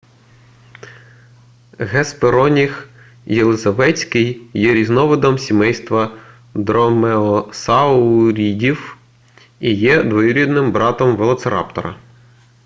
геспероніх єлизаветський є різновидом сімейства дромеосаурідів і є двоюрідним братом велоцираптора